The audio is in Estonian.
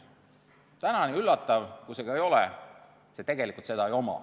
Täna, nii üllatav, kui see ka ei ole, sellel tegelikult seda ei ole.